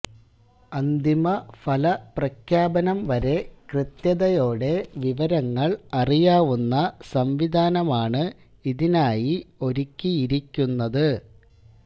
അന്തിമ ഫലപ്രഖ്യപനം വരെ കൃത്യതയോടെ വിവരങ്ങള് അറിയാവുന്ന സംവിധാനമാണ് ഇതിനായി ഒരുക്കിയിരിക്കുന്നത്